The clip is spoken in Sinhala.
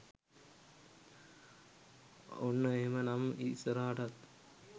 ඔන්න එහෙම නම් ඉස්සරහටත්